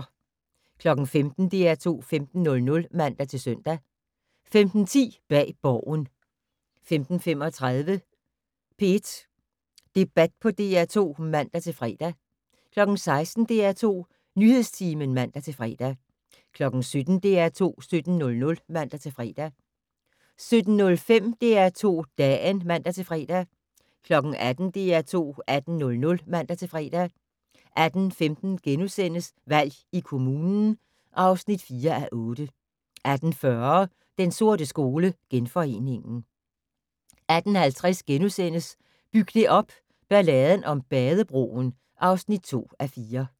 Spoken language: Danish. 15:00: DR2 15:00 (man-søn) 15:10: Bag Borgen 15:35: P1 Debat på DR2 (man-fre) 16:00: DR2 Nyhedstimen (man-fre) 17:00: DR2 17:00 (man-fre) 17:05: DR2 Dagen (man-fre) 18:00: DR2 18:00 (man-fre) 18:15: Valg i kommunen (4:8)* 18:40: Den sorte skole: Genforeningen 18:50: Byg det op - Balladen om Badebroen (2:4)*